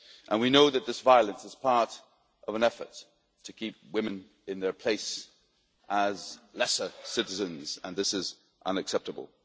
We know that this violence is part of an effort to keep women in their place as lesser citizens and this is unacceptable.